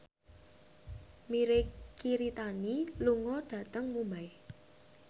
Mirei Kiritani lunga dhateng Mumbai